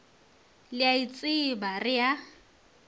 le a itseba re a